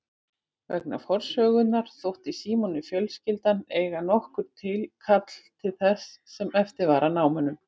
Vegna forsögunnar þótti Símoni fjölskyldan eiga nokkurt tilkall til þess sem eftir var af námunum.